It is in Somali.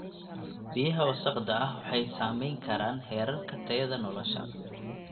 Biyaha wasakhda ah waxay saameyn karaan heerarka tayada nolosha.